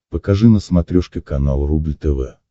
покажи на смотрешке канал рубль тв